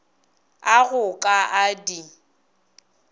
a go ka a di